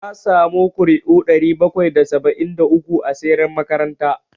Na samu ƙuri'u ɗari bakwai da saba'in da uku a siyar makaranta